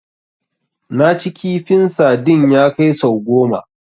Naci kifin sadin ya kai sau goma